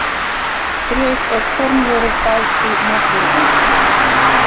Brauð og kornvörur fást í matvörubúðinni.